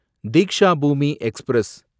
Deekshabhoomi express